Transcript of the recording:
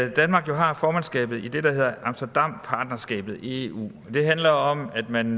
at danmark har formandskabet i det der hedder amsterdampartnerskabet i eu det handler om at man